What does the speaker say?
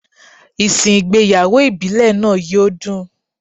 Ìsìn ìgbéyàwó ìbílẹ̀ náà yó dùn.